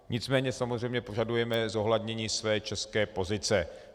Nicméně samozřejmě požadujeme zohlednění své české pozice.